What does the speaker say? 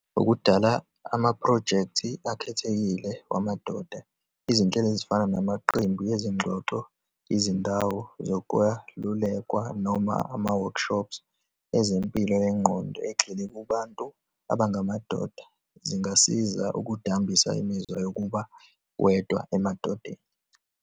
Ukudala amaphrojekthi akhethekile wamadoda, izinhlelo ezifana namaqembu ezingxoxo, izindawo zokwalulekwa, noma uma-workshops ezempilo yengqondo, ezigxile kubantu abangamadoda zingasiza ukudambisa imizwa yokuba wedwa emadodeni.